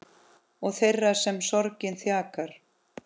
Og þeirra sem sorgin þjakar.